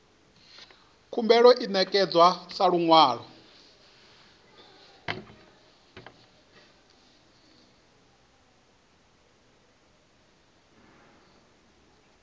khumbelo i ṋekedzwa sa luṅwalo